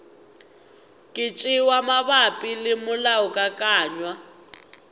ka tšewa mabapi le molaokakanywa